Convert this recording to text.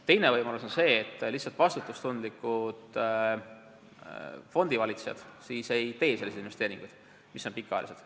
Teine võimalus on see, et vastutustundlikud fondivalitsejad lihtsalt ei tee selliseid investeeringuid, mis on pikaajalised.